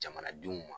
Jamanadenw ma